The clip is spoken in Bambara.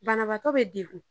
Banabaatɔ be dekun.